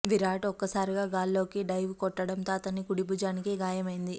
విరాట్ ఒక్కసారిగా గాల్లోకి డైవ్ కొట్టడం తో అతని కుడిభుజానికి గాయమైంది